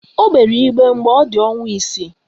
O gbere igbe mgbe ọ dị ọnwa isii